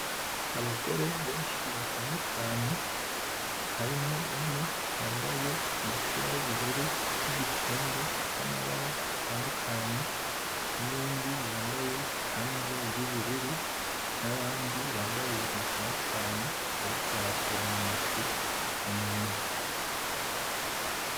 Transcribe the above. Abagore benshi batandukanye harimo umwe yambaye umupira w'ubururu , n'igitenge c'amabara atandukanye nuyundi yambaye ikanzu y'uburu nabandi bambaye ibintu bitandukanye bariko barasoroma amashu mumurima .